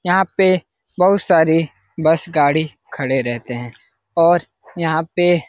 यहाँ पे बहुत सारी बस गाड़ी खड़े रहते हैं और यहाँ पे --